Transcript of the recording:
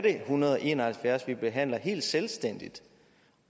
en hundrede og en og halvfjerds vi behandler helt selvstændigt